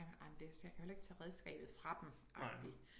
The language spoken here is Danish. Ej men jeg kan jo heller ikke tage redskabet fra dem agtig